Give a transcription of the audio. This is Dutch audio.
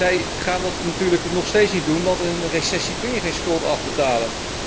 Zij gaan dat natuurlijk nog steeds niet doen, want in een recessie kun je geen schuld afbetalen.